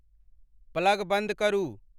plug बंद करु